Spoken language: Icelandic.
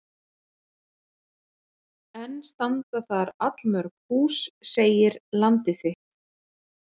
Enn standa þar allmörg hús segir Landið þitt.